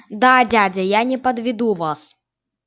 да дядя я не подведу вас